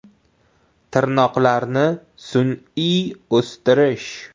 Tirnoqlarni sun’iy o‘stirish.